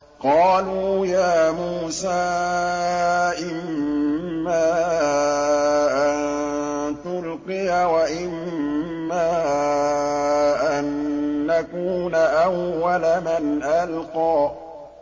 قَالُوا يَا مُوسَىٰ إِمَّا أَن تُلْقِيَ وَإِمَّا أَن نَّكُونَ أَوَّلَ مَنْ أَلْقَىٰ